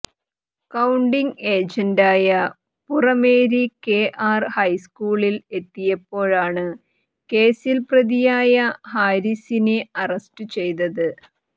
counting ഏജന്റായി Purameri K R ഹൈസ്ക്കൂളിൽ എത്തിയപ്പോഴാണ് കേസിൽ പ്രതിയായ ഹാരിസിനെ അറസ്റ്റ് ചെയ്തത്